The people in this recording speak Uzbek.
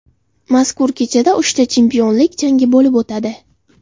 Mazkur kechada uchta chempionlik jangi bo‘lib o‘tadi.